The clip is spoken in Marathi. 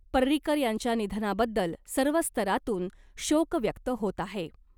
पर्रीकर यांच्या निधनाबद्दल सर्व स्तरांतून शोक व्यक्त होत आहे .